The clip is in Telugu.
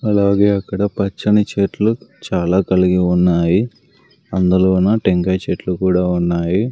అలాగే అక్కడ పచ్చని చెట్లు చాలా కలిగి ఉన్నాయి అందులోన టెంకాయ చెట్లు కూడా ఉన్నాయి.